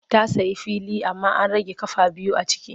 Ta sayi fili amma an rage ƙafa biyu a ciki.